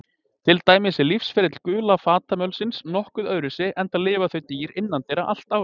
Til dæmis er lífsferill gula fatamölsins nokkuð öðruvísi, enda lifa þau dýr innandyra allt árið.